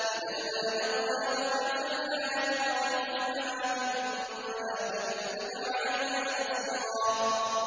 إِذًا لَّأَذَقْنَاكَ ضِعْفَ الْحَيَاةِ وَضِعْفَ الْمَمَاتِ ثُمَّ لَا تَجِدُ لَكَ عَلَيْنَا نَصِيرًا